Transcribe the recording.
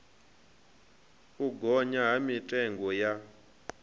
u gonya ha mitengo ya